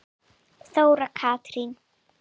Þóra Katrín.